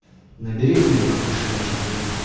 набери фильм воскрешая чемпиона